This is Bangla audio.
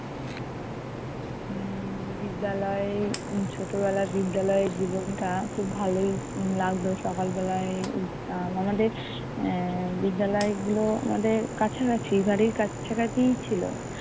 উম বিদ্যালয়ে ছোটবেলায় বিদ্যালয়ের জীবনটা খুব ভালোই লাগতো, সকালবেলায় উঠতাম। আমাদের এর বিদ্যালয় গুলো আমাদের কাছাকাছি, বাড়ির কাছাকাছিই ছিল